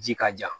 Ji ka ja